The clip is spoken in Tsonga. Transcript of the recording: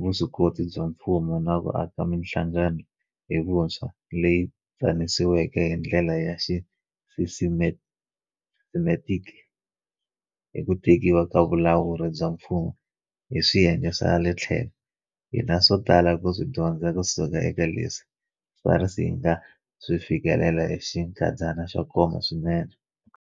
vuswikoti bya mfumo na ku aka mihlangano hi vuntshwa leyi tsanisiweke hi ndlela ya xisisitematiki hi ku tekiwa ka vulawuri bya mfumo hi swiyenge swa le tlhelo, hina swo tala ku swi dyondza kusuka eka leswi SARS yi nga swi fikelela hi xinkadyana xo koma swinene.